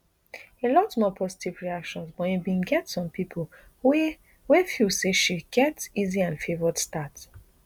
a lot more positive reactions but e bin get some pipo wey wey feel say she get easy and favoured start